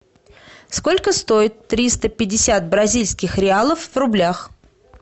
сколько стоит триста пятьдесят бразильских реалов в рублях